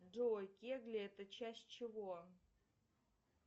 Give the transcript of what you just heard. джой кегли это часть чего